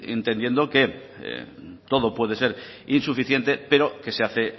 entendiendo que todo puede ser insuficiente pero que se hace